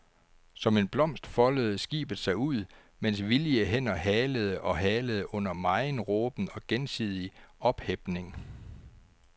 Som en blomst foldede skibet sig ud, mens villige hænder halede og halede under megen råben og gensidig ophepning.